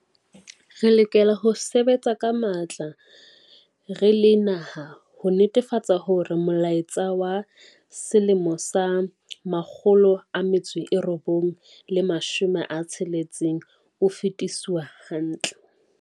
Re lokela ho sebetsa ka matla re le naha ho netefatsa hore molaetsa wa 1976 o fetiswa hantle.